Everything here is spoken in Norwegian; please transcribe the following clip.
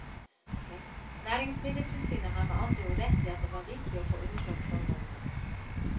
Næringsmiddeltilsynet har med andre ord rett i at det var viktig å få undersøkt forholdene.